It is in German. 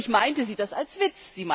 Natürlich meinte sie das als Witz.